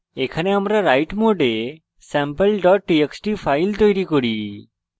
এখানে আমরা write mode sample txt file তৈরী করি